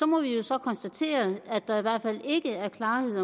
må vi jo så konstatere at der i hvert fald ikke er klarhed